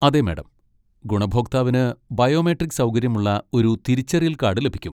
അതെ, മാഡം! ഗുണഭോക്താവിന് ബയോമെട്രിക് സൗകര്യമുള്ള ഒരു തിരിച്ചറിയൽ കാഡ് ലഭിക്കും.